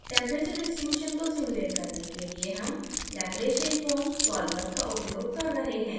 temperature distribution को simulate करने के लिए हम laplacianfoam solver का उपयोग कर रहे हैं